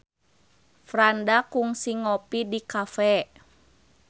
Franda kungsi ngopi di cafe